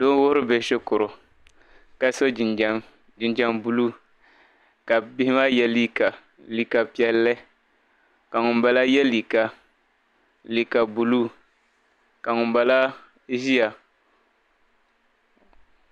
doo n-wuhiri bihi shikuru ka so jinjam buluu ka bihi maa ye liiga piɛlli ka ŋumbala ye liiga buluu ka ŋumbala ʒia